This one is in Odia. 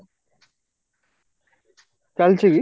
ଚାଲିଛି କି?